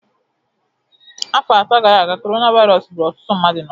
Afọ atọ gara aga, coronavirus gburu ọtụtụ mmadụ n'ụwa